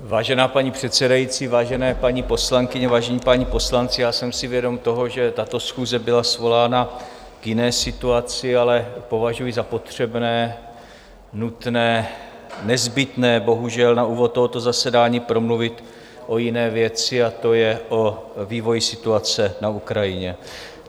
Vážená paní předsedající, vážené paní poslankyně, vážení páni poslanci, já jsem si vědom toho, že tato schůze byla svolána k jiné situaci, ale považuji za potřebné, nutné, nezbytné bohužel na úvod tohoto zasedání promluvit o jiné věci a to je o vývoji situaci na Ukrajině.